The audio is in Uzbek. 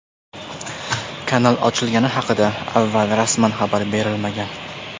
Kanal ochilgani haqida avval rasman xabar berilmagan.